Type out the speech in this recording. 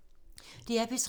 DR P3